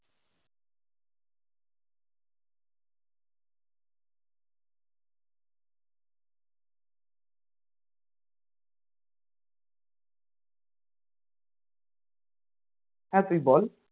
হ্যাঁ তুই বল